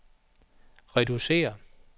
reducere